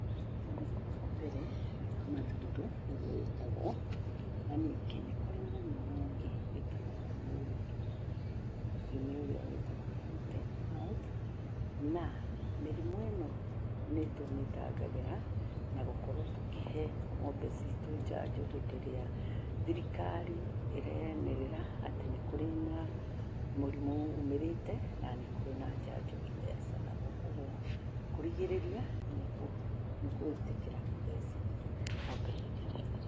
Mũrimũ wa mbere, nĩ wa mathundo nĩ guo wĩtagwo. Na ningĩ nĩ kurĩ mũrimũ ũngĩ wĩtagwo wa mũrirũ, ũcio nĩ ũrĩa wĩtagwo foot and mouth. Na mĩrimũ ĩno nĩ tũmĩtangagĩra, na gukorwo tũkĩhe ng'ombe citũ njanjo hĩndĩ irĩa thirikari ĩyenĩrĩra atĩ nĩ kũrĩ na mũrimũ ũmĩrĩte, na nĩ kũrĩ na njanjo ithecanagwo. Koguo kũrigĩrĩria nĩ gũĩtĩkĩra gũthecithia ng'ombe hĩndĩ ĩrĩa irathecwo.